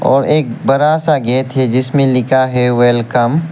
और एक बड़ा सा गेट है जिसमें लिखा है वेलकम ।